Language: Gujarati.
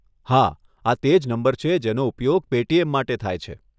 હા, આ તે જ નંબર છે જેનો ઉપયોગ પેટીએમ માટે થાય છે.